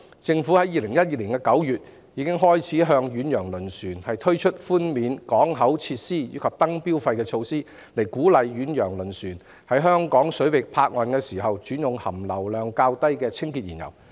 政府已於2012年9月開始就遠洋輪船實施寬免港口設施及燈標費的措施，以鼓勵遠洋輪船在香港水域泊岸時轉用含硫量較低的清潔燃油。